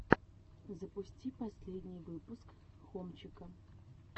запусти последний выпуск хомчика